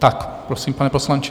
Tak prosím, pane poslanče.